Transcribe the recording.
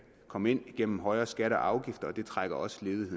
komme ind gennem højere skatter og afgifter og det trækker også ned